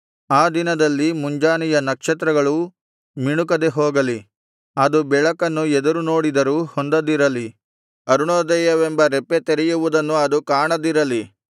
ಆ ದಿನದಲ್ಲಿ ಮುಂಜಾನೆಯ ನಕ್ಷತ್ರಗಳೂ ಮಿಣುಕದೆ ಹೋಗಲಿ ಅದು ಬೆಳಕನ್ನು ಎದುರುನೋಡಿದರೂ ಹೊಂದದಿರಲಿ ಅರುಣೋದಯವೆಂಬ ರೆಪ್ಪೆ ತೆರೆಯುವುದನ್ನು ಅದು ಕಾಣದಿರಲಿ